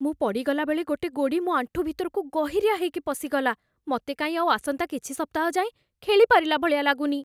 ମୁଁ ପଡ଼ିଗଲା ବେଳେ ଗୋଟେ ଗୋଡ଼ି ମୋ ଆଣ୍ଠୁ ଭିତରକୁ ଗହିରିଆ ହେଇକି ପଶିଗଲା । ମତେ କାଇଁ ଆଉ ଆସନ୍ତା କିଛି ସପ୍ତାହ ଯାଏଁ ଖେଳିପାରିଲା ଭଳିଆ ଲାଗୁନି ।